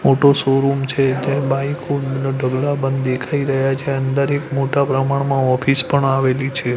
મોટો શોરૂમ છે ત્યાં બાઈકો ઢગલા બંધ દેખાય રહ્યા છે અંદર એક મોટા પ્રમાણમાં ઑફિસ પણ આવેલી છે.